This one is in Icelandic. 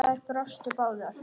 Þær brostu báðar.